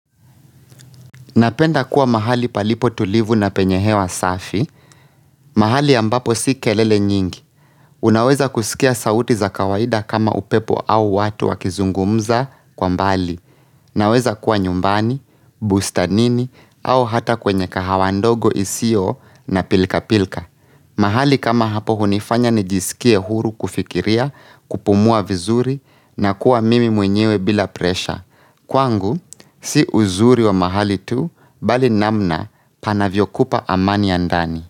Napenda kuwa mahali palipo tulivu na penye hewa safi. Mahali ambapo si kelele nyingi. Unaweza kusikia sauti za kawaida kama upepo au watu wakizungumza kwa mbali. Naweza kuwa nyumbani, bustanini au hata kwenye kahawa ndogo isio na pilkapilka. Mahali kama hapo hunifanya nijisikie huru kufikiria, kupumua vizuri na kuwa mimi mwenyewe bila presha. Kwangu, si uzuri wa mahali tu, bali namna panavyokupa amani ya ndani.